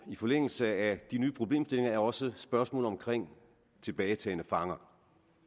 i forlængelse af de nye problemstillinger er også spørgsmålet om tilbagetagne fanger